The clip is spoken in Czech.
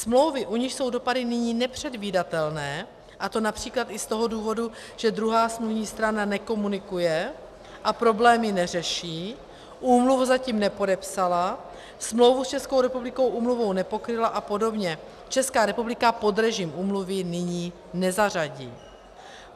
Smlouvy, u nichž jsou dopady nyní nepředvídatelné, a to například i z toho důvodu, že druhá smluvní strana nekomunikuje a problémy neřeší, úmluvu zatím nepodepsala, smlouvu s Českou republikou úmluvou nepokryla a podobně, Česká republika pod režim úmluvy nyní nezařadí.